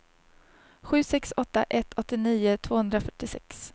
sju sex åtta ett åttionio tvåhundrafyrtiosex